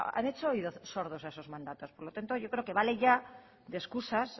han hecho oídos sordos a esos mandatos por lo tanto yo creo que vale ya de excusas